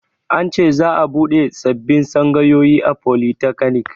An ce za'a buɗe sabbin tsangayoyi a folitakanik